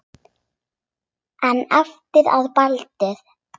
En eftir að Baldur.